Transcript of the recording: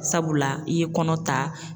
Sabula i ye kɔnɔ ta.